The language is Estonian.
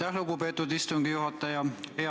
Aitäh, lugupeetud istungi juhataja!